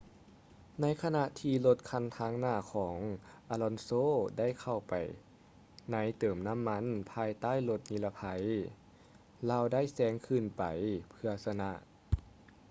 ໃນຂະນະທີ່ລົດຄັນທາງໜ້າຂອງ alonso ໄດ້ເຂົ້າໄປໃນເຕີມນໍ້າມັນພາຍໃຕ້ລົດນິລະໄພ ລາວໄດ້ແຊງຂຶ້ນໄປເພື່ອຊະນະ